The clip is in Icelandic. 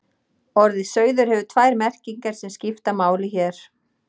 Orðið sauður hefur tvær merkingar sem skipta máli hér.